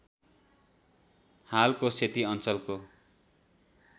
हालको सेती अ‍ञ्चलको